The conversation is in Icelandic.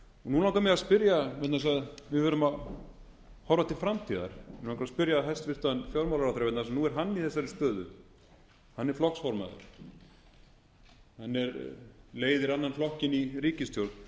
nú langar mig að spyrja vegna þess að við verðum að horfa til framtíðar mig langar að spyrja hæstvirtan fjármálaráðherra vegna þess að nú er hann í þessari stöðu en er flokksformaður hann leiðir annan flokkinn í ríkisstjórn